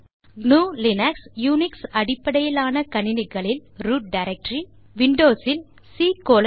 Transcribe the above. root directory gnuலினக்ஸ் Unix அடிப்படையிலான கணினிகள் சி கோலோன் ஸ்லாஷ் விண்டோஸ் இல்